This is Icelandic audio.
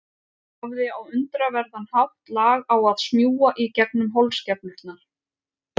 Hafði á undraverðan hátt lag á að smjúga í gegnum holskeflurnar.